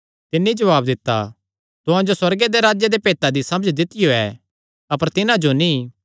तिन्नी जवाब दित्ता तुहां जो सुअर्गे दे राज्जे दे भेतां दी समझ दित्तियो ऐ अपर तिन्हां जो नीं